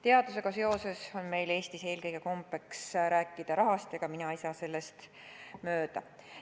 Teadusega seoses on meil Eestis eelkõige kombeks rääkida rahast, ega minagi ei saa sellest mööda.